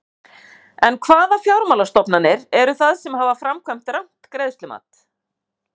En hvaða fjármálastofnanir eru það sem hafa framkvæmt rangt greiðslumat?